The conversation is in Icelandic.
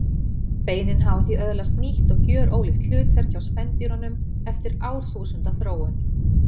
Beinin hafa því öðlaðist nýtt og gjörólíkt hlutverk hjá spendýrunum eftir árþúsunda þróun.